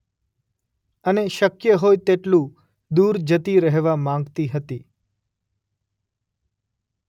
અને શક્ય હોય તેટલુ દૂર જતી રહેવા માંગતી હતી.